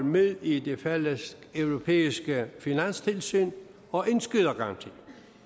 med i det fælleseuropæiske finanstilsyn og indskydergaranti